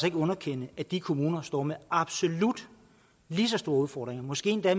ikke underkende at de kommuner står med absolut lige så store udfordringer måske endda